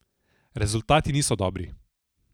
Rezultati niso dobri.